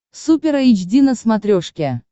супер эйч ди на смотрешке